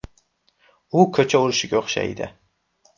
U ko‘cha urushiga o‘xshaydi.